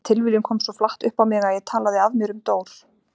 Þessi tilviljun kom svo flatt upp á mig að ég talaði af mér um Dór.